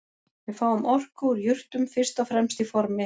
Við fáum orku úr jurtum fyrst og fremst í formi